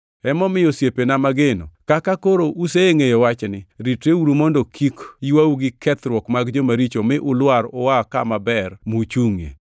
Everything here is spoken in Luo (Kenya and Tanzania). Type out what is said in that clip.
Emomiyo, osiepena mageno, kaka koro usengʼeyo wachni, ritreuru mondo kik ywau gi kethruok mag jomaricho mi ulwar ua kama ber muchungʼie.